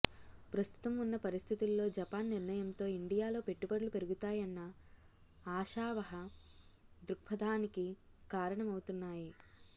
ప్రస్తుతం ఉన్న పరిస్థితుల్లో జపాన్ నిర్ణయంతో ఇండియాలో పెట్టుబడులు పెరుగుతాయన్న ఆశావహ దృక్పథానికి కారణమవుతున్నాయి